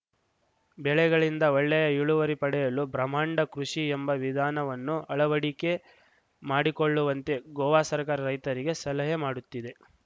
ಬೆಳೆಗಳಿಂದ ಒಳ್ಳೆಯ ಇಳುವರಿ ಪಡೆಯಲು ಬ್ರಹ್ಮಾಂಡ ಕೃಷಿ ಎಂಬ ವಿಧಾನವನ್ನು ಅಳವಡಿಕೆ ಮಾಡಿಕೊಳ್ಳುವಂತೆ ಗೋವಾ ಸರ್ಕಾರ ರೈತರಿಗೆ ಸಲಹೆ ಮಾಡುತ್ತಿದೆ